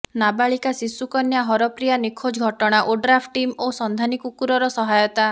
ନାବାଳିକା ଶିଶୁ କନ୍ୟା ହରପ୍ରିୟା ନିଖୋଜ ଘଟଣା ଓଡ୍ରାଫ୍ ଟିମ୍ ଓ ସନ୍ଧାନୀ କୁକୁର ର ସହାୟତା